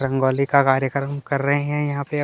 रंगोली का कार्यक्रम कर रहे है यहाँ पे अब --